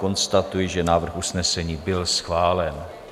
Konstatuji, že návrh usnesení byl schválen.